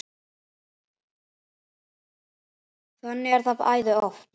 Þannig er það æði oft.